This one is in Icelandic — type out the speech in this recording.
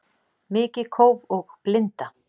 Mikið kóf og blinda